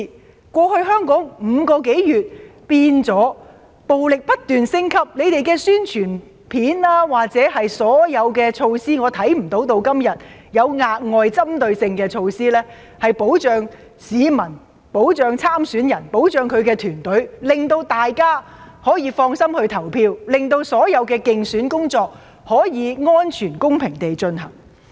香港過去5個多月以來，已演變成暴力行為不斷升級，我看不到政府的宣傳片或所有措施，直到今天有任何額外針對性的措施，可以保障市民、參選人及其團隊，讓大家可以放心投票，讓所有競選工作可以安全、公平地進行。